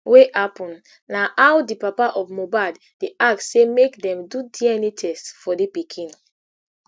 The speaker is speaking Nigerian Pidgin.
wey happun na how di papa of mohbad dey ask say make dem do dna test for di pikin